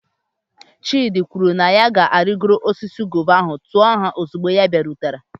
Chidi kwuru na ya ga-arịgoro osisi guava ahụ, tuo ha ozugbo ọ bịarutere.